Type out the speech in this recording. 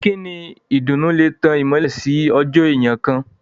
Ìkíni ìdùnnú lè tán ìmọ́lẹ̀ sí ọjọ́ èèyàn kán.